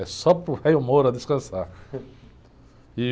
É só para o descansar.